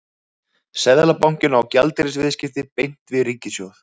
Seðlabankinn á gjaldeyrisviðskipti beint við ríkissjóð.